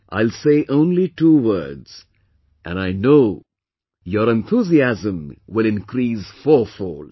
I will say only two words and I know your enthusiasm will increase fourfold